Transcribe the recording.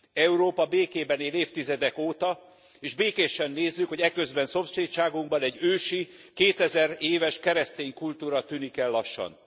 Európa békében él évtizedek óta és békésen nézzük, hogy eközben szomszédságunkban egy ősi, kétezer éves keresztény kultúra tűnik el lassan.